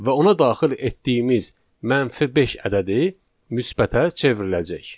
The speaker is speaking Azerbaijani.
Və ona daxil etdiyimiz mənfi beş ədədi müsbətə çevriləcək.